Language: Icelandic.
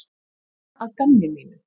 Bara að gamni mínu.